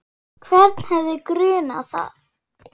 Hvern hefði grunað það?